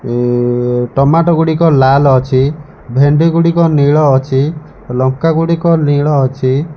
ଉଁ ଟମାଟୋ ଗୁଡିକ ଲାଲ୍ ଅଛି ଭେଣ୍ଡି ଗୁଡିକ ନୀଳ ଅଛି ଲଙ୍କା ଗୁଡିକ ନୀଳ ଅଛି।